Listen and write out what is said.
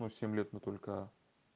ну семь лет мы только